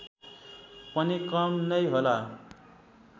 पनि कम नै होला